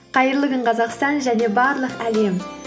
қайырлы күн қазақстан және барлық әлем